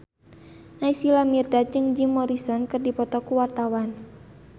Naysila Mirdad jeung Jim Morrison keur dipoto ku wartawan